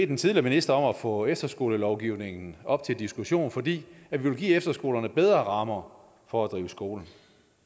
den tidligere minister om at få efterskolelovgivningen op til diskussion fordi vi vil give efterskolerne bedre rammer for at drive skole